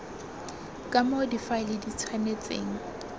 ka moo difaele di tshwanetseng